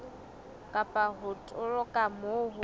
kapa ho toloka moo ho